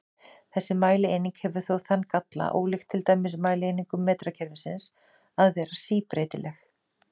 Þessi mælieining hefur þó þann galla, ólíkt til dæmis mælieiningum metrakerfisins, að vera síbreytileg.